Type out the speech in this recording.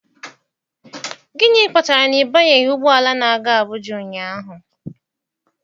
Gịnị kpatara na ị banyeghị ụgbọ ala na-aga Abụja ụnyaahụ?